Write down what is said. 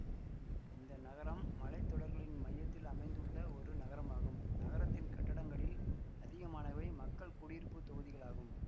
இந்த நகரம் மலைத்தொடர்களின் மையத்தில் அமைந்துள்ள ஒரு நகரமாகும் நகரத்தின் கட்டடங்களில் அதிகமானவை மக்கள் குடியிருப்பு தொகுதிகளாகும்